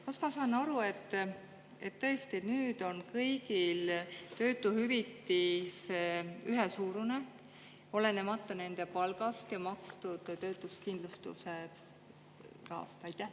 Kas ma saan õigesti aru, et tõesti nüüd on kõigil töötuhüvitis ühesuurune, olenemata nende palgast ja makstud töötuskindlustuse rahast?